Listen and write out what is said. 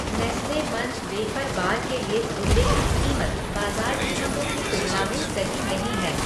Nestle Munch wafer bar के लिए उल्लिखित कीमत बाज़ार कीमतों की तुलना में सही नहीं है।